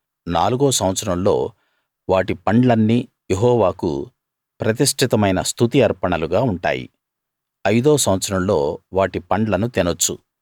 నాలుగో సంవత్సరంలో వాటి పండ్లన్నీ యెహోవాకు ప్రతిష్ఠితమైన స్తుతి అర్పణలుగా ఉంటాయి ఐదో సంవత్సరంలో వాటి పండ్లను తినొచ్చు